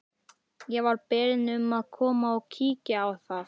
Ég var beðinn um að koma og kíkja á það.